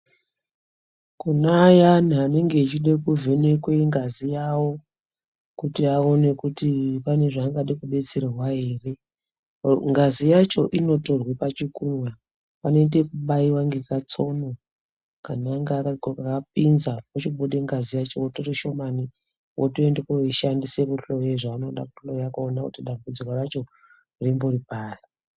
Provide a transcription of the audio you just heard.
Kune ayani anenge achida kuvhenekwe ngazi yawo kuti aone kuti pane zvaangade kudetserwa ere ngazi yacho inotorwe pachikunwe apa panoite ekubaiwa ngekatsono kanonga kakapinza pochibude ngazi yacho votore shomani votoende koishandisa kuhloya zvavonode kuhloya kuone kuti dambudziko racho rimbori pari.